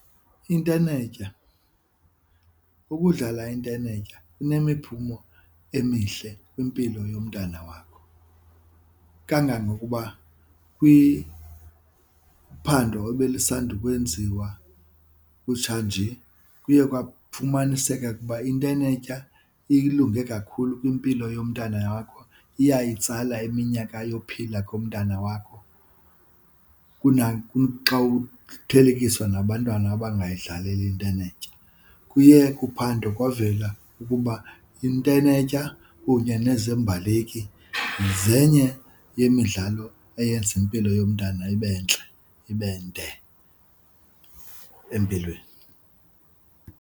Intenetya, ukudlala intenetya inemiphumo emihle kwimpilo yomntana wakho kangangokuba kwiphando ebelisanda ukwenziwa kutshanje kuye kwafumaniseka ukuba intenetya ilunge kakhulu kwimpilo yomntana wakho, iyayitsala eminyaka yophila komntana wakho kunaxa kuthelekiswa nabantwana abangayidlaleli intenetya. Kuye kuphando kwavela ukuba intenetya kunye nezembaleki zenye yemidlalo eyenza impilo yomntwana ibe ntle ibe nde empilweni.